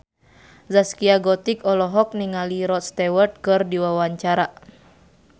Zaskia Gotik olohok ningali Rod Stewart keur diwawancara